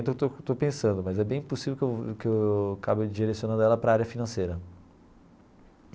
Estou estou pensando mas é bem possível que eu que eu acabe direcionando ela para a área financeira.